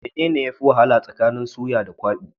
Mene ne yafi wahala tsakanin suya da kwabi?